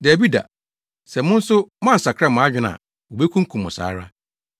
Dabi da, sɛ mo nso moansakra mo adwene a, wobekunkum mo saa ara.